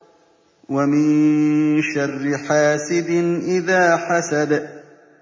وَمِن شَرِّ حَاسِدٍ إِذَا حَسَدَ